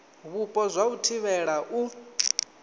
vhupo zwa u thivhela u